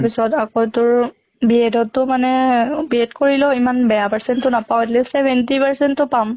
পিছত আকৌ তোৰ B.Ed টো মানে B.Ed কৰিলেও ইমান বেয়া percent টো নাপাওঁ, at least seventy percent টো পাম।